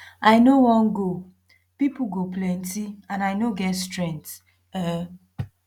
i no wan go people go plenty and i no get strength um